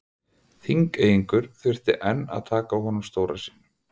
Þingeyingur þurfti enn að taka á honum stóra sínum.